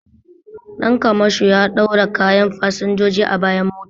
Dan kamasho ya ɗaura kayan fasinjoji a bayan mota